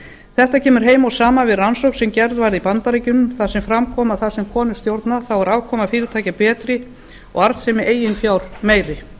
þetta kemur heim og saman við rannsókn sem gerð var í bandaríkjunum þar sem fram kom að þar sem konur stjórna er afkoma fyrirtækja betri og arðsemi eigin fjár meiri